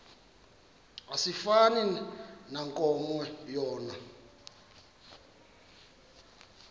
asifani nankomo yona